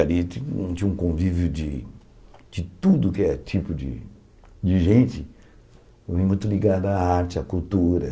ali tinha um tinha um convívio de de tudo que é tipo de de gente muito ligada à arte, à cultura.